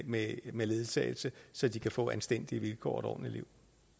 med med ledsagelse så de kan få anstændige vilkår og et ordentligt liv